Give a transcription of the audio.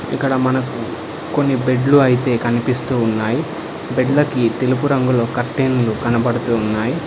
ఇక్కడ మనకు కొన్ని బెడ్లు అయితే కనిపిస్తూ ఉన్నాయి బెడ్లకి తెలుపు రంగులో కర్టెన్లు కనబడుతు ఉన్నాయ్.